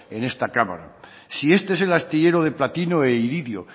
en esta cámara si este es el artillero de platino e iridio